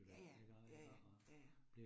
Ja ja, ja ja, ja ja